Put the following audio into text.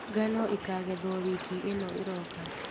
Ngano ĩkagethwo wiki ĩno ĩroka.